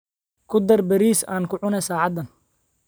Ku dar bariis aan ku cuno saacadan.